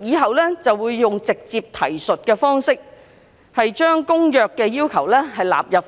日後以直接提述的方式，將《公約》的要求納入《條例》。